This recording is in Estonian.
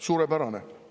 Suurepärane!